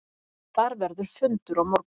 Þar verður fundur á morgun.